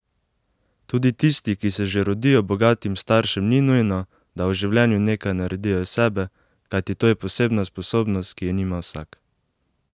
Tudi tisti, ki se že rodijo bogatim staršem, ni nujno, da v življenju nekaj naredijo iz sebe, kajti to je posebna sposobnost, ki je nima vsak!